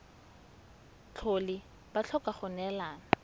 tlhole ba tlhoka go neelana